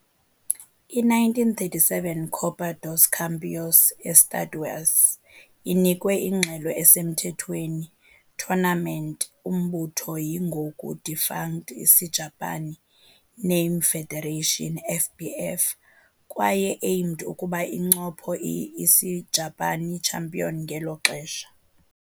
I - 1937 Copa dos Campeões Estaduais inikwe ingxelo esemthethweni tournament umbutho yi-ngoku defunct Isijapani Name Federation, FBF, kwaye aimed ukuba incopho i-Isijapani champion ngelo xesha.